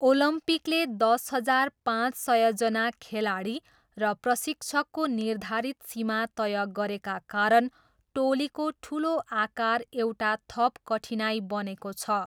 ओलम्पिकले दस हजार पाँच सयजना खेलाडी र प्रशिक्षकको निर्धारित सीमा तय गरेका कारण टोलीको ठुलो आकार एउटा थप कठिनाइ बनेको छ।